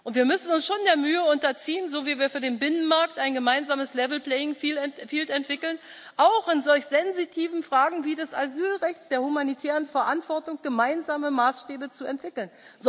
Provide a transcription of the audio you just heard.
Wir müssen uns schon der Mühe unterziehen, so wie wir für den Binnenmarkt ein gemeinsames level playing field entwickeln, auch in solch sensitiven Fragen wie denen des Asylrechts und der humanitären Verantwortung gemeinsame Maßstäbe zu entwickeln.